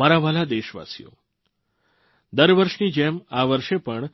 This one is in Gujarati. મારા વ્હાલા દેશવાસીઓ દર વર્ષની જેમ આ વર્ષે પણ